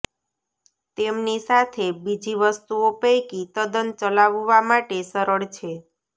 તેમની સાથે બીજી વસ્તુઓ પૈકી તદ્દન ચલાવવા માટે સરળ છે